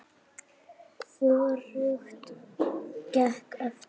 Hvorugt gekk eftir.